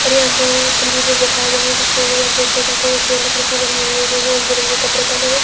और यहां पर कम्प्यूटर बैठाए गए है। कुछ लोग यहां चेयर पे बैठे हुए है। चेयर लकड़ी की बनी हुई हैं इन्होंने ने रंग बिरंगे कपड़े पहने हुए है।